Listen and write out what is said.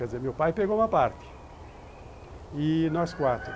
Quer dizer, meu pai pegou uma parte e nós quatro.